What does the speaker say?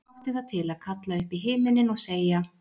Jón átti það til að kalla upp í himininn og segja